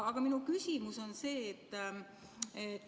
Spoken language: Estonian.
Aga minu küsimus on see.